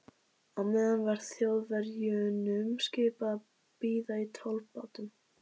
Á meðan var Þjóðverjunum skipað að bíða í tollbátnum.